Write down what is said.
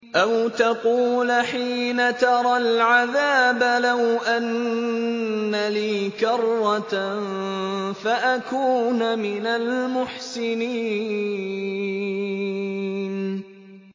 أَوْ تَقُولَ حِينَ تَرَى الْعَذَابَ لَوْ أَنَّ لِي كَرَّةً فَأَكُونَ مِنَ الْمُحْسِنِينَ